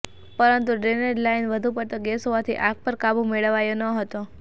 પરંતુ drainage line વધુ પડતો ગેસ હોવાથી આગ પર કાબુ મેળવાયો ન હતો